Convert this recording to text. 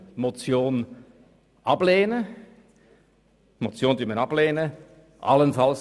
Daher lehnen wir die Motion Junker ab.